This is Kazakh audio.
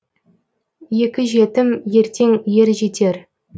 екі жетім ертең ер жетер